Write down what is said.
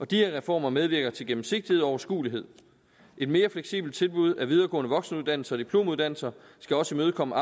de her reformer medvirker til gennemsigtighed og overskuelighed et mere fleksibelt tilbud af videregående voksenuddannelser og diplomuddannelser skal også imødekomme